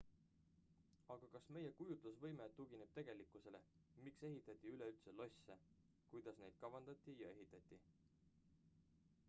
aga kas meie kujutlusvõime tugineb tegelikkusele miks ehitati üleüldse losse kuidas neid kavandati ja ehitati